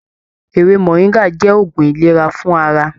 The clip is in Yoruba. Ewé moringa jẹ òògùn ìlera fún ara.